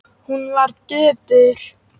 Hún var döpur.